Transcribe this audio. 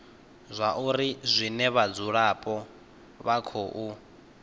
zwauri zwine vhadzulapo vha khou